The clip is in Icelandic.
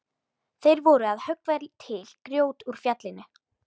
Þeir voru að höggva til grjót úr fjallinu.